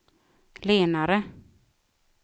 lenare